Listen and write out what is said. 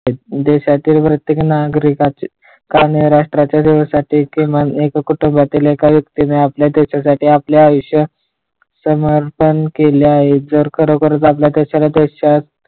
देश्यातील प्रत्येक नागरिकाची आणि राष्ट्रातील जवळपास प्रत्येक कुटुंबातील एक व्यक्तीने आपल्या देश्यासाठी आपले आयुष्य समर्पण केले आहेत जर खरोखरच आपल्या देशाला देश .